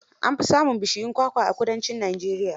An fi samun bishuyun kwakwa a kudancin Najeriya.